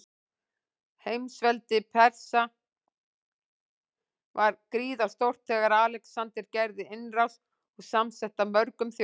Heimsveldi Persa var gríðarstórt þegar Alexander gerði innrás, og samsett af mörgum þjóðum.